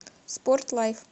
спорт лайф